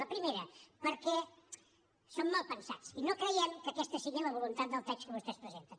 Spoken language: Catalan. la primera perquè som malpensats i no creiem que aquesta sigui la voluntat del text que vostès presenten